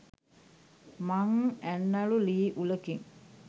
මං ඇන්නලු ළී උළකින්